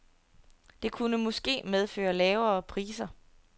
Det kunne måske medføre lavere priser.